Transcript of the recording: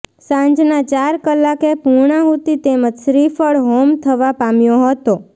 સાંજના ચાર કલાકે પૂર્ણાહુતિ તેમજ શ્રીફળ હોમ થવા પામ્યો હતો